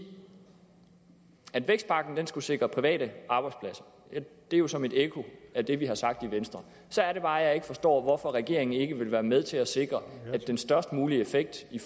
at vækstpakken skulle sikre private arbejdspladser det er jo som et ekko af det vi har sagt i venstre så er det bare jeg ikke forstår hvorfor regeringen ikke vil være med til at sikre at den størst mulige effekt i